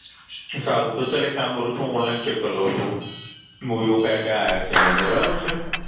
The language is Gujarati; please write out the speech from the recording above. સારું તો હું એક કામ કરી લઉ છું હુ Online ચેક કરી લઉં છું Movie ઓ કયા કયા આવ્યા છે એની અંદર બરાબર છે